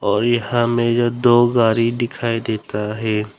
और यहां में जो दो गाड़ी दिखाई देता है।